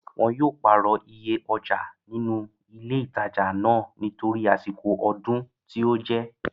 Wọn yóò pàrọ̀ iye ọjà nínú ilé ìtajà náà nítorí àsìkò ọdún tí ó jẹ́